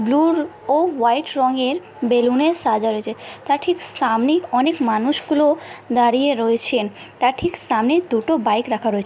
blue ও white রঙ এর বেলুন এ সাজা রয়েছে তার ঠিক সামনেই অনেক মানুষ গুলো দাড়িয়ে রয়েছেন তার ঠিক সামনে দুটো বাইক রাখা রয়েছ--